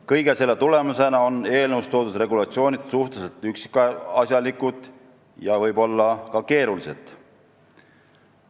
Kõige selle tulemusena on eelnõus toodud regulatsioonid suhteliselt üksikasjalikud ja võib-olla ka keerulised.